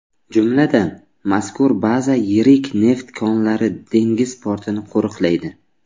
Jumladan, mazkur baza yirik neft konlari, dengiz portini qo‘riqlaydi.